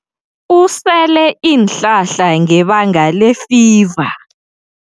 Usele iinhlahla ngebanga lefiva.